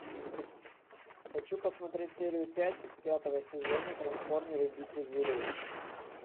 хочу посмотреть серию пять пятого сезона трансформеры битвы зверей